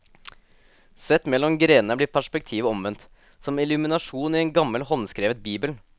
Sett mellom grenene blir perspektivet omvendt, som en illuminasjon i en gammel håndskrevet bibel.